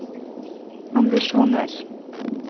ambisjoner